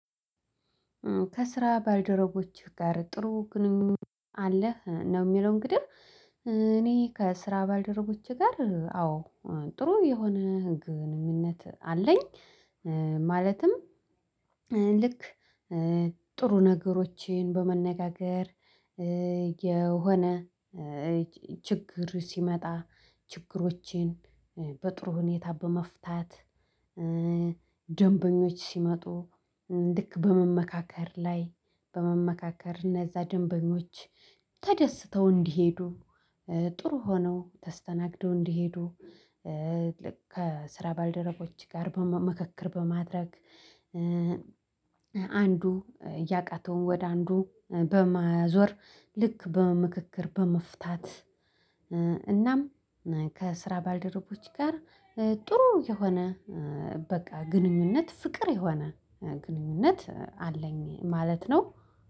ከስራ ባልደረቦችህ ጋር ጥሩ ግንኙነት አለህ ነው የሚለው? እንግዲህ እኔ ከስራ ባልደረቦቼ ጋር አዎ ጥሩ የሆነ ግንኙነት አለኝ። ማለትም ልክ ጥሩ ነገሮችን በመነጋገር የሆነ ችግር ሲመጣ ችግሮቼን በጥሩ ሁኔታ በመፍታት ደንበኞች ሲመጡ ልክ በመመካከር ላይ በመመካከር እነዛ ደንበኞች ተደስተው እንዲሄዱ ጥሩ ሆነው ተስተናግደው እንዲሄዱ። ከስራ ባልደረቦች ጋር በመ ምክክር በማድረግ አንዱ ያቃተውን ወደ አንዱ በማዞር ልክ በመመካከር በመፍታት። እናም ከስራ ባልደረቦች ጋር ጥሩ የሆነ በቃ ግንኙነት ፍቅር የሆነ ግንኙነት አለኝ ማለት ነው።